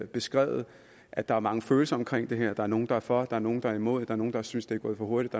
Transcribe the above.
beskrevet at der er mange følelser omkring det her der er nogle der er for der er nogle der er imod er nogle der synes det er gået for hurtigt